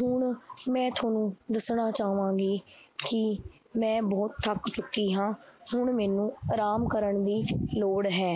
ਹੁਣ ਮੈਂ ਤੁਹਾਨੂੰ ਦੱਸਣਾ ਚਾਹਾਂਗੀ ਕਿ ਮੈਂ ਬਹੁਤ ਥੱਕ ਚੁੱਕੀ ਹਾਂ, ਹੁਣ ਮੈਨੂੰ ਆਰਾਮ ਕਰਨ ਦੀ ਲੋੜ ਹੈ।